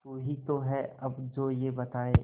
तू ही तो है अब जो ये बताए